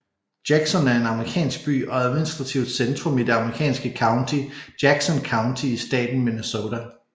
Jackson er en amerikansk by og administrativt centrum i det amerikanske county Jackson County i staten Minnesota